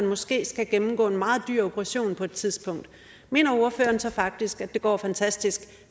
måske skal gennemgå en meget dyr operation på et tidspunkt mener ordføreren så faktisk at det går fantastisk